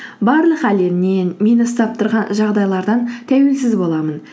барлық әлемнен мені ұстап тұрған жағдайлардан тәуелсіз боламын